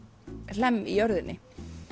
hlemm í jörðinni